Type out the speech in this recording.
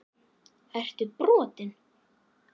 Ertu brotinn??!